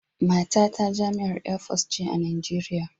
Matata jami'ar Air Force ce a Najeriya